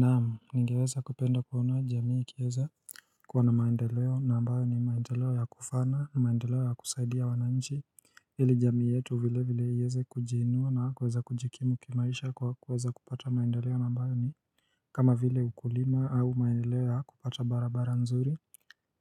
Naam nigeweza kupenda kuona jamii ikiweza kuwa na maendeleo na ambayo ni maendeleo ya kufana maendeleo ya kusaidia wanainchi Hili jamii yetu vile vile ieze kujiinua na kuweza kujikimu kimaisha kwa kuweza kupata maendeleo na ambayo ni kama vile ukulima au maendeleo ya kupata barabara nzuri